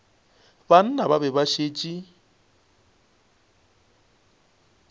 banna ba be ba šetše